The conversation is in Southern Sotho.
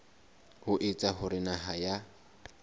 ho etsa hore naha ya